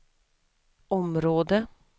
område